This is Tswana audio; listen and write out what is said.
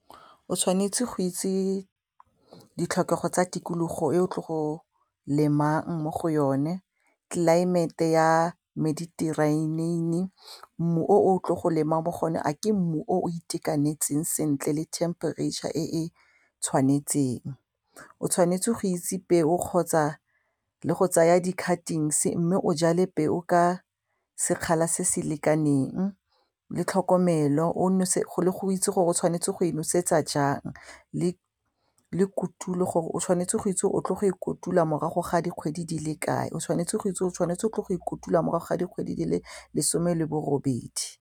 O tshwanetse go itse ditlhokego tsa tikologo e o tlo go lemang mo go yone tlelaemete ya mediterranean, mmu o tlo go lemang mo go one a ke mmu o itekanetseng sentle le temperature e tshwanetseng, o tshwanetse go itse peo kgotsa le go tsaya di-cuttings mme o jale peo ka sekgala se se lekaneng le tlhokomelo, o itse le gore o tshwanetse go e nosetsa jang le kotulo gore o tshwanetse go itse o tlile go ikotula morago ga dikgwedi di le kae o tshwanetse go itse o tshwanetse o tlile go ikotula morago ga dikgwedi di le lesome le bo robedi.